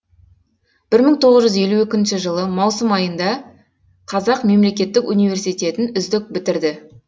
бір мың тоғыз жүз елу екінші жылы маусым айында қазақ мемлекеттік университетін үздік бітірді